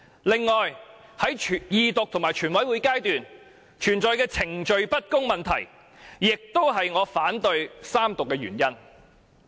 此外，在二讀和全體委員會階段，存在的程序不公問題亦是我反對三讀的原因。